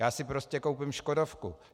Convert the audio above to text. Já si prostě koupím škodovku.